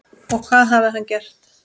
Og hvað hafði hann gert?